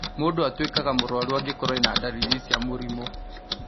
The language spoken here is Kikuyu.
Mũndũ atũĩkaga mũrwarũ angĩkorwo ena ndariri cia mũrimũ